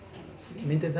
myndirnar